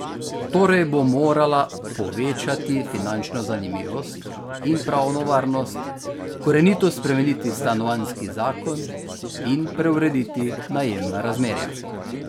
Torej bo morala povečati finančno zanimivost in pravno varnost, korenito spremeniti stanovanjski zakon in preurediti najemna razmerja.